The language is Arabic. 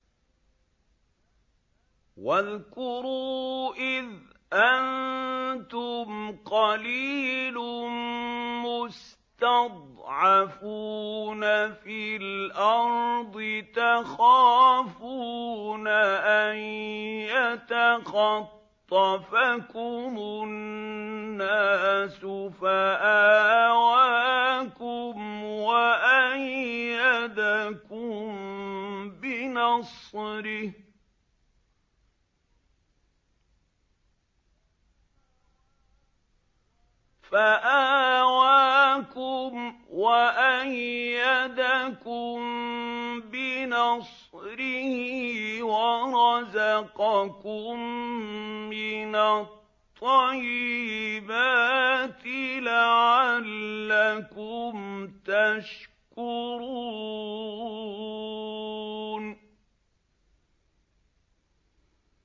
وَاذْكُرُوا إِذْ أَنتُمْ قَلِيلٌ مُّسْتَضْعَفُونَ فِي الْأَرْضِ تَخَافُونَ أَن يَتَخَطَّفَكُمُ النَّاسُ فَآوَاكُمْ وَأَيَّدَكُم بِنَصْرِهِ وَرَزَقَكُم مِّنَ الطَّيِّبَاتِ لَعَلَّكُمْ تَشْكُرُونَ